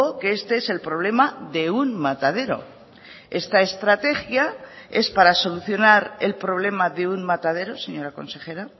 que este es el problema de un matadero esta estrategia es para solucionar el problema de un matadero señora consejera